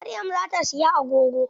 Maryam za ta siyi agogo.